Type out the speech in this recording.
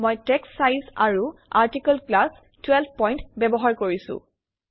মই text size আৰু article class 12 point ব্যবহাৰ কৰিছোঁ